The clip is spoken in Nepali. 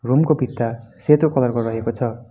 रूम को भित्ता सेतो कलर को रहेको छ।